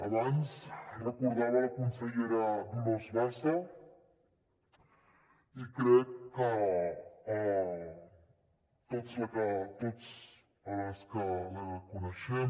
abans recordava la consellera dolors bassa i crec que tots els que la coneixem